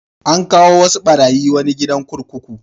An kawo wasu ɓarayi wani gidan kurkuku.